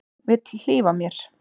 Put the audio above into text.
Vill hlífa mér.